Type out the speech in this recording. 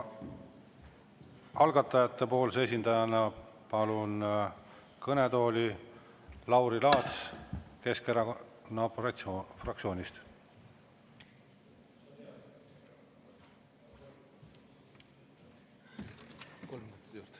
Algatajate esindajana palun kõnetooli Lauri Laatsi Keskerakonna fraktsioonist.